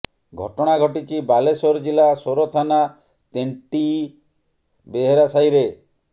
ଘଟଣା ଘଟିଛି ବାଲେଶ୍ୱର ଜିଲ୍ଲା ସୋର ଥାନା ତେଣ୍ଟିଇ ବେହେରାସାହିରେ